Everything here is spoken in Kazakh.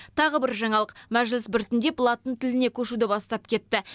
тағы бір жаңалық мәжіліс біртіндеп латын тіліне көшуді бастап кетті